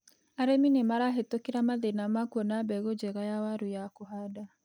Arĩmi nĩmarahĩtũkĩra mathina ma kuona mbegu njega ya waru ya kũhanda.